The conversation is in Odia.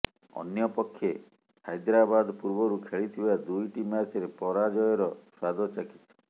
ଅନ୍ୟପକ୍ଷେ ହାଇଦ୍ରାବାଦ ପୂର୍ବରୁ ଖେଳିଥିବା ଦୁଇଟି ମ୍ୟାଚରେ ପରାଜୟର ସ୍ୱାଦ ଚାଖିଛି